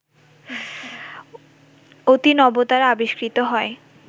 অতিনবতারা আবিষ্কৃত হয়